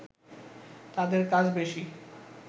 তাদের কাজ বেশি